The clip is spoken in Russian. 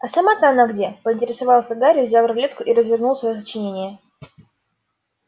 а сама-то она где поинтересовался гарри взял рулетку и развернул своё сочинение